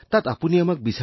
আপুনি আমাক তাত পাইছিল